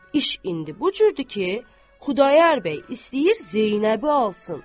İş indi bu cürdür ki, Xudayar bəy istəyir Zeynəbi alsın.